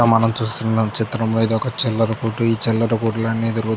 ఇడ మనం చూస్తున్నా చిత్రంలో ఏదో ఒక చిల్లర కొట్టు ఈ చిల్లర కొట్టు అని --